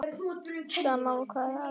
Sama hvað aðrir segja.